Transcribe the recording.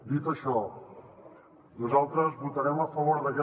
dit això nosaltres votarem a favor d’aquesta moció